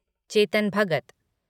Chetan Bhagat